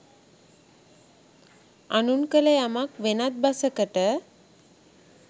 අනුන් කළ යමක් වෙනත් බසකට